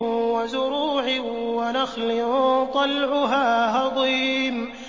وَزُرُوعٍ وَنَخْلٍ طَلْعُهَا هَضِيمٌ